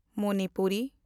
Manipuri